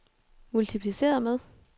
multipliceret med